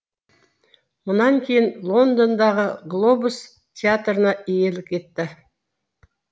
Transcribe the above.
мұнан кейін лондондағы глобус театрына иелік етті